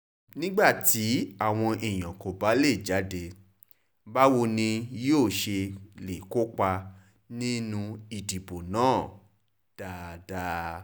nígbà tí àwọn èèyàn kò bá lè jáde báwo ni wọn yóò ṣe lè kópa nínú ìdìbò náà dáadáa